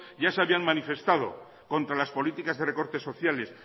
ya se habían manifestado contra las políticas de recortes sociales